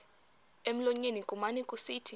emlonyeni kumane kusithi